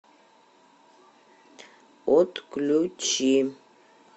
отключи